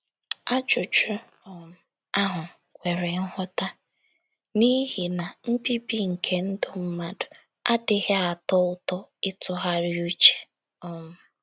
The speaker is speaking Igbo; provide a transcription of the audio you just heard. Ajụjụ um ahụ kwere nghọta, n'ihi na mbibi nke ndụ mmadụ adịghị atọ ụtọ ịtụgharị uche um.